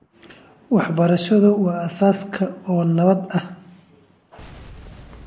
Waxbarashadu waa aasaaska oo nabad ah.